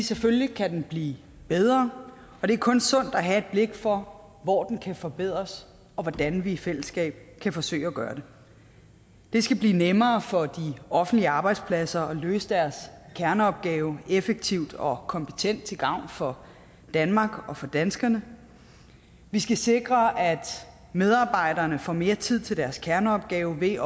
selvfølgelig kan den blive bedre og det er kun sundt at have et blik for hvor den kan forbedres og hvordan vi i fællesskab kan forsøge at gøre det det skal blive nemmere for de offentlige arbejdspladser at løse deres kerneopgave effektivt og kompetent til gavn for danmark og danskerne vi skal sikre at medarbejderne får mere tid til deres kerneopgave ved